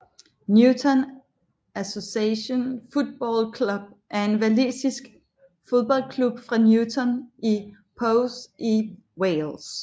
Newtown Association Football Club er en walisisk fodboldklub fra Newtown i Powys i Wales